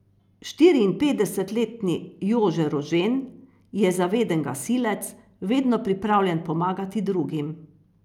Štiriinpetdesetletni Jože Rožen je zaveden gasilec, vedno pripravljen pomagati drugim.